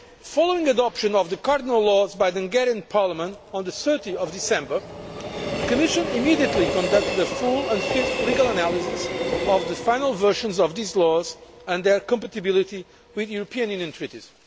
Following adoption of the cardinal laws by the Hungarian Parliament on 30 December, the Commission immediately conducted a full and swift legal analysis of the final versions of these laws and their compatibility with the European Union treaties.